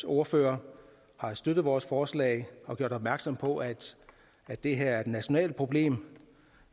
ordfører har støttet vores forslag og gjort opmærksom på at det her er et nationalt problem